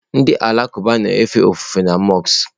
Ndị Alakụba na-efe ofufe na mọsk.